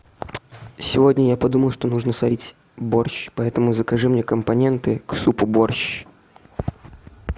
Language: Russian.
сегодня я подумал что нужно сварить борщ поэтому закажи мне компоненты к супу борщ